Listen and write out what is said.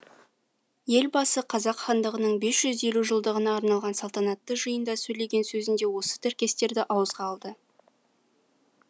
елбасы қазақ хандығының бес жүз елу жылдығына арналған салтанатты жиында сөйлеген сөзінде осы тіркестерді ауызға алды